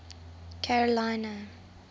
carolina